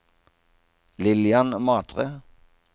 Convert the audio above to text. Lillian Matre